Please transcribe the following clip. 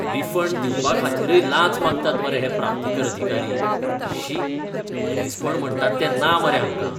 Refund दिवपाखातीरय लांच मागतात मरे हे प्राप्तीकर अधिकारी. शी, मनीसपण म्हणटा तें ना मरे हांकां!